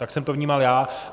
Tak jsem to vnímal já.